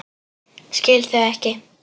Skil þau ekki.